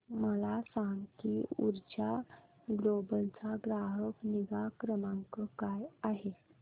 मला सांग की ऊर्जा ग्लोबल चा ग्राहक निगा क्रमांक काय आहे